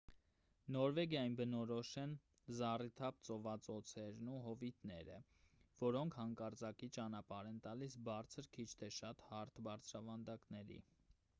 նորվեգիային բնորոշ են զառիթափ ծովածոցերն ու հովիտները որոնք հանկարծակի ճանապարհ են տալիս բարձր քիչ թե շատ հարթ բարձրավանդակների